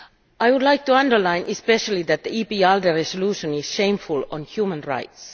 I would like to underline especially that the EPP ALDE resolution is shameful on human rights.